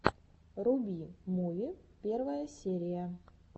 руби муви первая серия